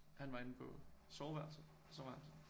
Han var inde på soveværelset og så var han sådan